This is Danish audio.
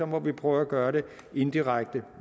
må vi prøve at gøre det indirekte